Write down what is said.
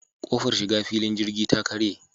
Ƙofar shiga filin jirgi ta karye.